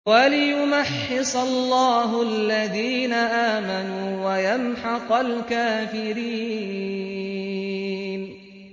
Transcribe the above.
وَلِيُمَحِّصَ اللَّهُ الَّذِينَ آمَنُوا وَيَمْحَقَ الْكَافِرِينَ